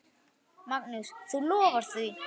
Magnús: Þú lofar því?